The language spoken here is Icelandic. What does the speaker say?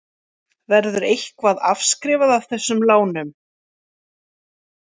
Verður eitthvað afskrifað af þessum lánum?